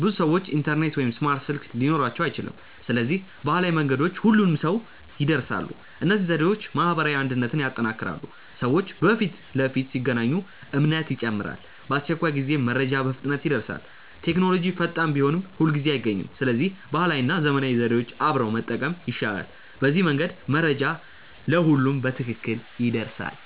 ብዙ ሰዎች ኢንተርኔት ወይም ስማርት ስልክ ሊኖራቸው አይችልም። ስለዚህ ባህላዊ መንገዶች ሁሉንም ሰው ይድረሳሉ። እነዚህ ዘዴዎች ማህበራዊ አንድነትን ያጠናክራሉ። ሰዎች በፊት ለፊት ሲገናኙ እምነት ይጨምራል። በአስቸኳይ ጊዜም መረጃ በፍጥነት ይደርሳል። ቴክኖሎጂ ፈጣን ቢሆንም ሁልጊዜ አይገኝም። ስለዚህ ባህላዊ እና ዘመናዊ ዘዴዎች አብረው መጠቀም ይሻላል። በዚህ መንገድ መረጃ ለሁሉም በትክክል ይደርሳል።